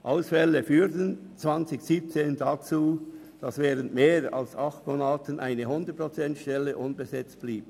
Ausfälle führten 2017 dazu, dass während mehr als acht Monaten eine 100-Prozent-Stelle unbesetzt blieb.